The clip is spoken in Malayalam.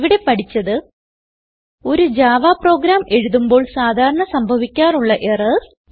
ഇവിടെ പഠിച്ചത് ഒരു ജാവ പ്രോഗ്രാം എഴുതുമ്പോൾ സാധാരണ സംഭവിക്കാറുള്ള എറർസ്